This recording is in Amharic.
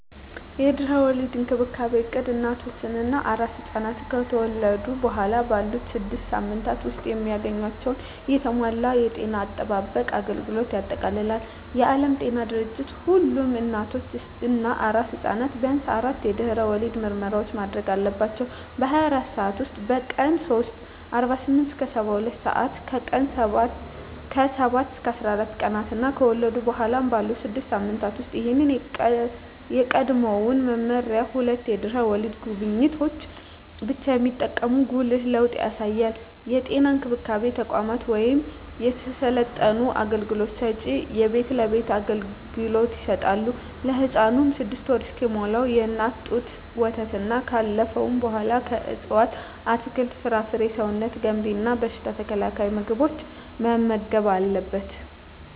የድህረ ወሊድ እንክብካቤ እቅድ እናቶች እና አራስ ሕፃናት ከተወለዱ በኋላ ባሉት ስድስት ሳምንታት ውስጥ የሚያገኟቸውን የተሟላ የጤና አጠባበቅ አገልግሎቶችን ያጠቃልላል። የዓለም ጤና ድርጅት ሁሉም እናቶች እና አራስ ሕፃናት ቢያንስ አራት የድህረ ወሊድ ምርመራዎችን ማድረግ አለባቸው - በ24 ሰዓት ውስጥ፣ በቀን 3 (48-72 ሰአታት)፣ ከ7-14 ቀናት እና ከተወለዱ በኋላ ባሉት 6 ሳምንታት ውስጥ። ይህ ከቀድሞው መመሪያ ሁለት የድህረ ወሊድ ጉብኝቶችን ብቻ የሚጠቁም ጉልህ ለውጥ ያሳያል። የጤና እንክብካቤ ተቋማት ወይም የሰለጠኑ አገልግሎት ሰጭዎች የቤት ለቤት አገልግሎት ይሰጣሉ። ለህፃኑም 6ወር እስኪሞላው የእናት ጡት ወተትና ካለፈው በኃላ ከእፅዋት አትክልት፣ ፍራፍሬ ሰውነት ገንቢ እና በሽታ ተከላካይ ምግቦችን መመገብ አለብን